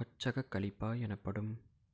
கொச்சகக் கலிப்பா எனப்படும்